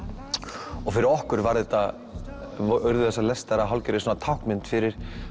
og fyrir okkur var þetta urðu þessar lestar að hálfgerðri táknmynd fyrir